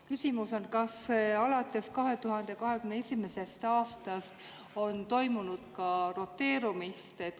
Küsimus on, kas alates 2021. aastast on toimunud ka roteerumist.